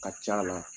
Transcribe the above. Ka ca la